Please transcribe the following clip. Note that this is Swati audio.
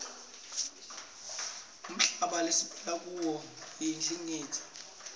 umhlaba lesiphila kuwo uyindingilizi